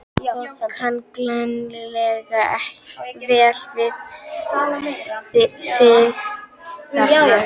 Og kann greinilega vel við sig þarna!